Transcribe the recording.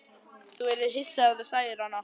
Þú yrðir hissa ef þú sæir hana.